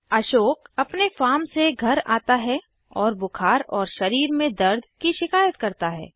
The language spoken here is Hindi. अशोक अपने फार्म से घर आता है और बुखार और शरीर में दर्द की शिकायत करता है